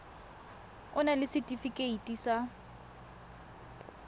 o na le setefikeiti sa